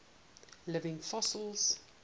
living fossils